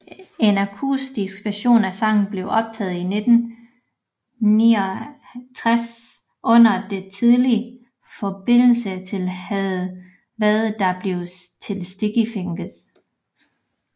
En akustisk version af sangen blev optaget i 1969 under de tidlige forberedelser til hvad der blev til Sticky Fingers